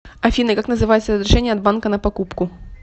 афина как называется разрешение от банка на покупку